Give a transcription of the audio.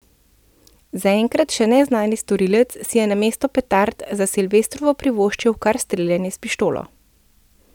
Zaenkrat še neznani storilec si je namesto petard za silvestrovo privoščil kar streljanje s pištolo.